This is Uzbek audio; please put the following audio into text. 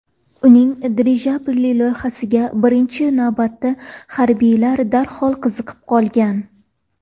Uning dirijabli loyihasiga birinchi navbatda harbiylar darhol qiziqib qolgan.